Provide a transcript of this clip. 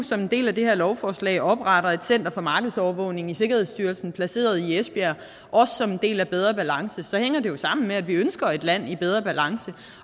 som en del af det her lovforslag opretter et center for markedsovervågning i sikkerhedsstyrelsen placeret i esbjerg også som en del af bedre balance så hænger det jo sammen med at vi ønsker et land i bedre balance